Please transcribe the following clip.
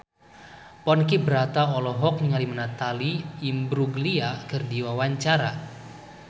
Ponky Brata olohok ningali Natalie Imbruglia keur diwawancara